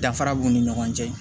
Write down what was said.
Dafara b'u ni ɲɔgɔn cɛ